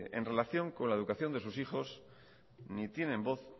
en relación con la educación de sus hijos ni tienen voz